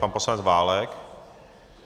Pan poslanec Válek.